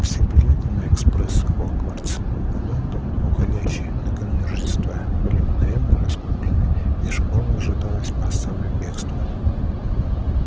все билеты на экспресс хогвартс лондон уходящий накануне рождества были мгновенно раскуплены из школы ожидалось массовое бегство